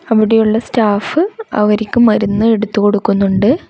അവിടെയുള്ള സ്റ്റാഫ് അവരിക്ക് മരുന്ന് എടുത്തു കൊടുക്കുന്നുണ്ട്.